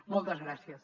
moltes gràcies